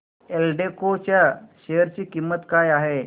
एल्डेको च्या शेअर ची किंमत काय आहे